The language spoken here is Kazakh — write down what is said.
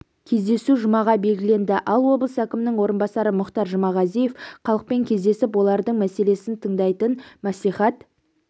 кездесу жұмаға белгіленді ал облыс әкімінің орынбасары мұхтар жұмағазиев халықпен кездесіп олардың мәселесін тыңдайтын мәслихат